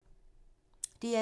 DR2